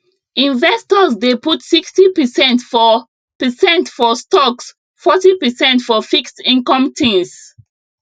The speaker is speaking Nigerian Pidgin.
investors dey put 60 percent for percent for stocks forty percent for fixed income things